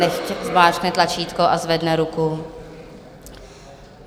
Nechť zmáčkne tlačítko a zvedne ruku.